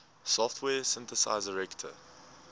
software synthesizer reaktor